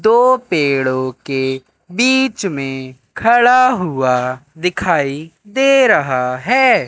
दो पेड़ों के बीच में खड़ा हुआ दिखाई दे रहा है।